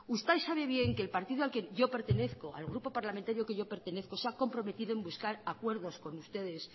usted sabe bien que el partido al que yo pertenezco al grupo parlamentario al que yo pertenezco se ha comprometido en buscar acuerdos con ustedes